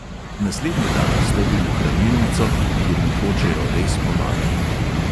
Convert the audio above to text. Naslednji dan stopim v hranilnico, kjer mi hočejo res pomagat.